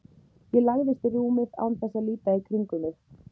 Ég lagðist í rúmið án þess að líta í kringum mig.